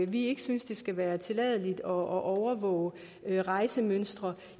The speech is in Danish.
vi ikke synes det skal være tilladt at overvåge rejsemønstre